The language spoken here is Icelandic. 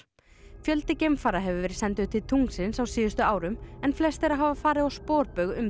fjöldi geimfara hefur verið sendur til tunglsins á síðustu árum en flest þeirra hafa farið á sporbaug um